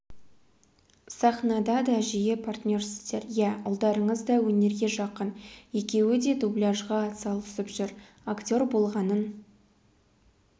сахнада да жиі партнерсіздер иә ұлдарыңыз да өнерге жақын екеуі де дубляжға атсалысып жүр актер болғанын